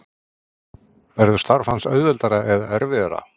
Verður starf hans auðveldara eða erfiðara?